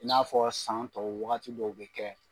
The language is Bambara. I n'a fɔ san tɔw wagati dɔw bɛ kɛ